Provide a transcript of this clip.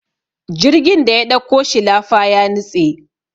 jirgin da ya ɗauko shilafa ya nutse